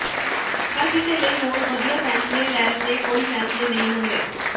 ਹਰ ਕਿਸੇ ਲਈ ਹੋਰ ਵਧੀਆ ਫ਼ੈਸਲੇ ਲੈਣ ਦੇ ਕੋਈ ਫ਼ੈਸਲੇ ਨਹੀਂ ਹੁੰਦੇ